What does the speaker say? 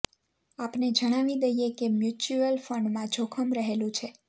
આપને જણાવી દઇએ કે મ્યુચ્યુઅલ ફંડમાં જોખમ રહેલું છે